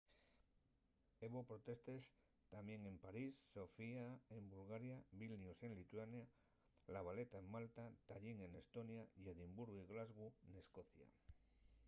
hebo protestes tamién en parís sofía en bulgaria vilnius en lituania la valeta en malta tallín n’estonia y edimburgu y glasgow n’escocia